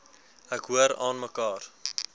ek hoor aanmekaar